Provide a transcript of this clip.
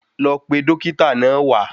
Lọ pe Dókítà náà wá